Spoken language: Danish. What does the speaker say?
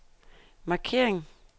markering